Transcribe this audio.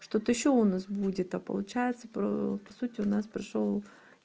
что-то ещё у нас будет а получается про по сути у нас прошёл